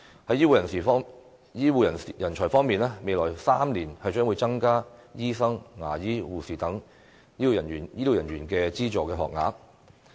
在醫護人才方面，未來3年將會增加醫生、牙醫和護士等醫療人員的資助學額。